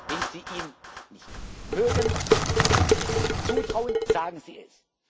angebracht. Wenn Sie ihn nicht mögen, wenn Sie es ihm nicht zutrauen, sagen